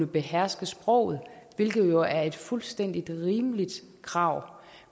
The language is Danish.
beherske sproget hvilket jo er et fuldstændig rimeligt krav